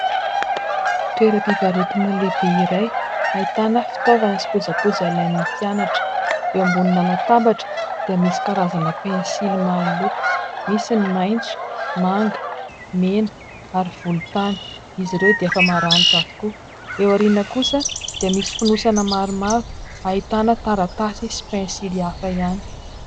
Toeram-pivarotana lehibe iray, ahitana fitaovana sy kojakoja ilain'ny mpianatra. Eo ambonina latabatra dia misy karazana pensily maro loko : misy ny maintso, manga, mena, ary volontany ; izy ireo dia efa maranitra avokoa. Eo aoriana kosa dia misy fonosana maromaro ahitana taratasy sy pensily hafa ihany.